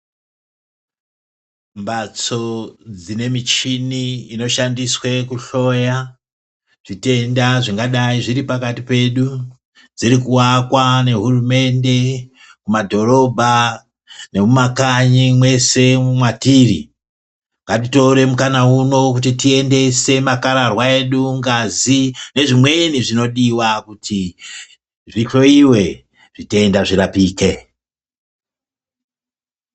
Mbatso dzine muchini inoshandiswa kuhloya zvitenda zvingadai zviri pakati pedu dziri kuakwa nehurumende mumadhorobha nemumakanyi mese mwatiri. Ngatitore mukana uno kuti tiendese makararwa edu, ngazi nezvimweni zvinodiwa kuti zvihloyiwe zvitenda zvirapike.